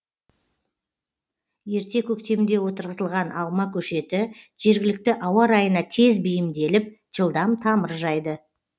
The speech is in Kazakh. ерте көктемде отырғызылған алма көшеті жергілікті ауа райына тез бейімделіп жылдам тамыр жайды